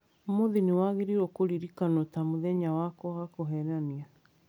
Ũũmũũthĩ nĩwagĩrĩirwo kũririkanwo ta mũthenya wakwa wa kũheenania.